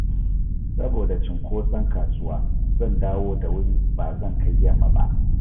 Saboda cinkoson kasuwa, zan dawo da wuri ba zan kai yamma ba